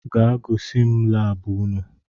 gaa gois m lab unu!